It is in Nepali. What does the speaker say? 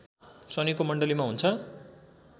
शनिको मण्डलीमा हुन्छ